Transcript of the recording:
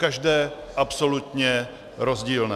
Každé absolutně rozdílné.